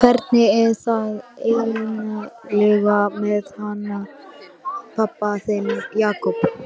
Hvernig er það eiginlega með hann pabba þinn, Jakob?